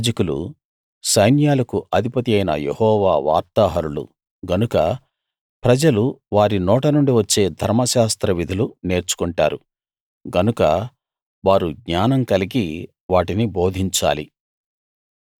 యాజకులు సైన్యాలకు అధిపతియైన యెహోవా వార్తాహరులు గనుక ప్రజలు వారి నోటనుండి వచ్చే ధర్మశాస్త్ర విధులు నేర్చుకొంటారు గనుక వారు జ్ఞానం కలిగి వాటిని బోధించాలి